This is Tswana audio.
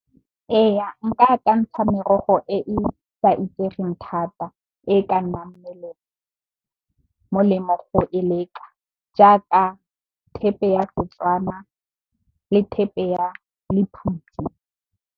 Eya, nka akantsha merogo e e sa itsegeng thata e ka nnang molemo go e leka jaaka, thepe ya setswana le thepe ya lephutsi.